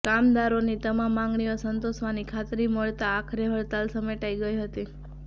કામદારોની તમામ માંગણીઓ સંતોષવાની ખાત્રી મળતાં આખરે હડતાલ સમેટાઇ હતી